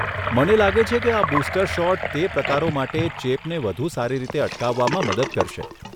મને લાગે છે કે આ બૂસ્ટર શોટ તે પ્રકારો માટે ચેપને વધુ સારી રીતે અટકાવવામાં મદદ કરશે.